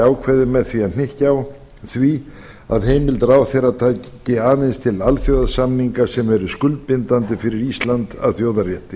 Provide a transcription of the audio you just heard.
ákvæðið með því að hnykkja á því að heimild ráðherra taki aðeins til alþjóðasamninga sem eru skuldbindandi fyrir ísland að þjóðarétti